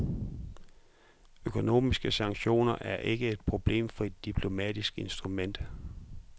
Økonomiske sanktioner er ikke et problemfrit diplomatisk instrument.